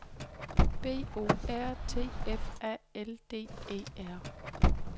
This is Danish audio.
B O R T F A L D E R